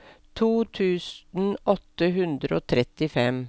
to tusen åtte hundre og trettifem